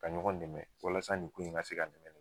ka ɲɔgɔn nɛmɛ walasa nin in ka se ka